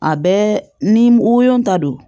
A bɛɛ ni woyo ta don